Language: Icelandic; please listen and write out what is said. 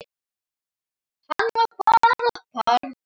Hann var bara barn.